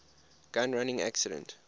gun running incident